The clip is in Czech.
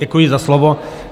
Děkuji za slovo.